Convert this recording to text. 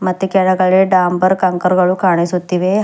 ಮತ್ತೆ ಕೆಳಗಡೆ ಡಾಂಬರ್ ಕಂಕರ್ ಗಳು ಕಾಣಿಸುತ್ತಿವೆ ಹಾ--